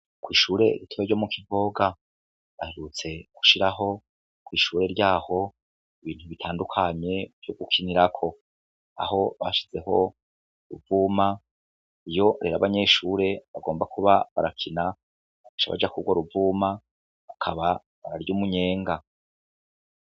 Kw'ishure rito ryo mu Kivoga, baherutse gushiraho kw'ishure ryaho ibintu bitandukanye vyo gukinirako. Aho bashizeho uruvuma iyo abanyeshure bagomba kuba barakina baca Baja kururwo ruvuma bakaba bararya umunyenga.